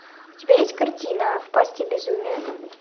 у тебя есть картина в пасти безумия